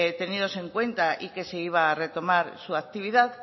tenidos en cuenta y que se iba a retomar su actividad